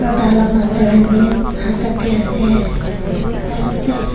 aro tahan la master khan bi tatey ase bhal ase.